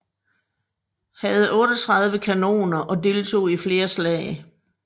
Havde 38 kanoner og deltog i flere slag